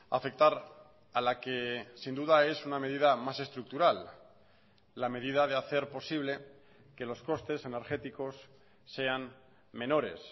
afectar a la que sin duda es una medida más estructural la medida de hacer posible que los costes energéticos sean menores